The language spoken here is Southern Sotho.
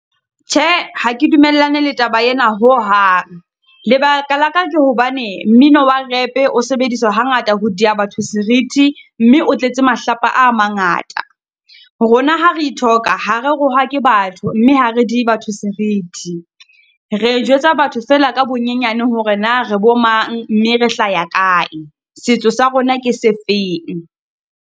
Tjhe, ha ke dumellane le taba ena ho hang, lebaka la ka ke hobane mmino wa rap-e o sebediswa hangata ho diya batho seriti, mme o tletse mahlapa a mangata. Rona ha re ithoka ha re rohake batho, mme ha re dihe batho seriti. Re jwetsa batho fela ka bonyenyane hore na re bo mang, mme re hlaya kae. Setso sa rona ke sefeng.